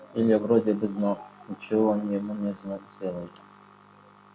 илья вроде бы знал ничего он ему не сделает